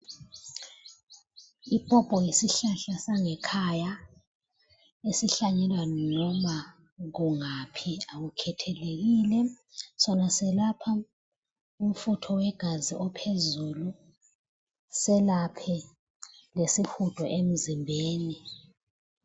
Ipopo yisihlahla sangekhaya esihlanyelwa noma kungaphi akukhethelekile, sona siyelapha umfutho wegazi ophezulu selaphe lesihudo emzimbeni.